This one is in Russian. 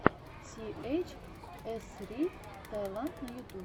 си эйч ссри таиланд на ютубе